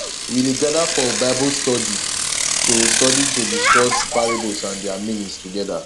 we dey gather for bible study to study to discuss parables and their meanings together